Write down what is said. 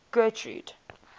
getrude